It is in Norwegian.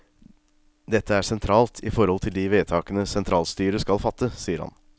Dette er sentralt i forhold til de vedtakene sentralstyret skal fatte, sier han.